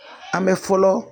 A bɛ fɔlɔ.